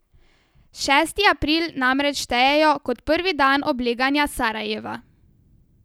Šesti april namreč štejejo kot prvi dan obleganja Sarajeva.